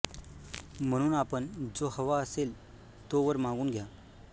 म्हणून आपण जो हवा असेल तो वर मागून घ्या